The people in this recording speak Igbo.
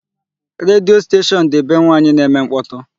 Redio station dị be nwaanyị na-eme mkpọtụ.